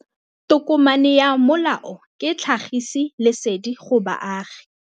Tokomane ya molao ke tlhagisi lesedi go baagi.